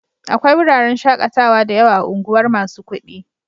Akwai wuraren shaƙatawa da yawa a unguwar masu kuɗi.